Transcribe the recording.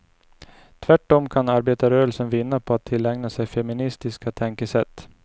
Tvärtom kan arbetarrörelsen vinna på att tillägna sig feministiska tänkesätt.